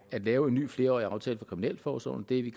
at lave en ny flerårig aftale for kriminalforsorgen det er vi